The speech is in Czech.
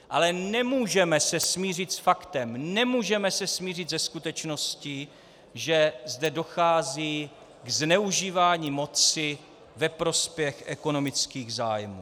Ale nemůžeme se smířit s faktem, nemůžeme se smířit se skutečností, že zde dochází k zneužívání moci ve prospěch ekonomických zájmů.